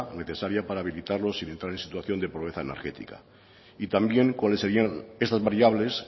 necesaria para habilitarlos y evitar la situación de pobreza energética y también cuáles serían estas variables